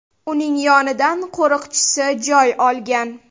Uning yonidan qo‘riqchisi joy olgan.